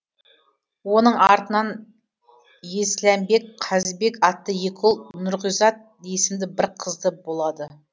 оның артынан есләмбек қазбек атты екі ұл нұрғизат есімді бір қызды болады